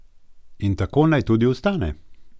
In tako naj tudi ostane.